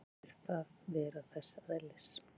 Finnst þér það vera þess eðlis?